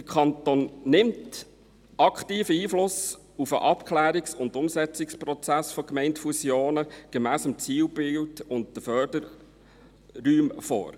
Der Kanton nimmt hier aktiv Einfluss auf den Abklärungs- und Umsetzungsprozess von Gemeindefusionen gemäss dem Zielbild und den Förderräumen.